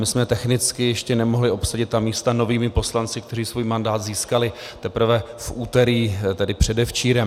My jsme technicky ještě nemohli obsadit ta místa novými poslanci, kteří svůj mandát získali teprve v úterý, tedy předevčírem.